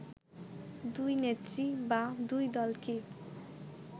দুই নেত্রী বা দুই দল কি